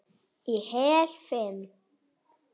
Í heil fimm